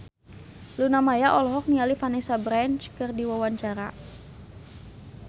Luna Maya olohok ningali Vanessa Branch keur diwawancara